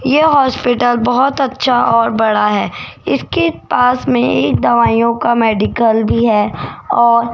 यह हॉस्पिटल बहुत अच्छा और बड़ा है इसके पास में एक दवाइयों का मेडिकल भी है और --